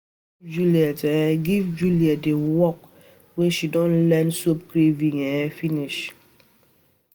Go um give Juliet um give Juliet the work she don learn soap carving um finish